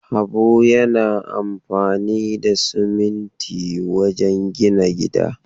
Habu yana amfani da siminti wajen gina gida.